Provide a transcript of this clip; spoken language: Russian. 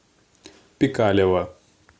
пикалево